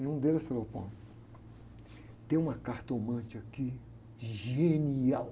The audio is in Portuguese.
E um deles falou, tem uma cartomante aqui, genial.